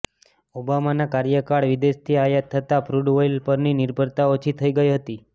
ઓબામાના કાર્યકાળમાં વિદેશથી આયાત થતાં ક્રૂડ ઑઇલ પરની નિર્ભરતા ઓછી થઈ ગઈ હતી